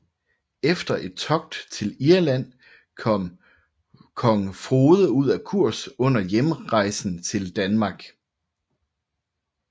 Efter et togt til Irland kom kong Frode ud af kurs under hjemrejsen til Danmark